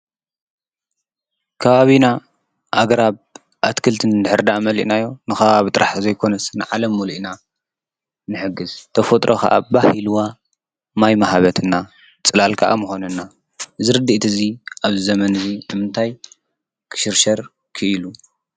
ካባብና ኣግራብ ኣትክልትን እንድኅርዳ መሊእናዮ ንኻ ብ ጥራሕ ዘይኮነስን ንዓለም ሙሊእና ምሕግሥ ተፈጥሮ ኸዓ ባሂልዋ ማይ መሃበትና ጽላል ከዓ ምኾነና ዝርዲ እቲ እዙይ ኣብ ዘመንእዙ እምታይ ክሽርሸር ክኢሉ?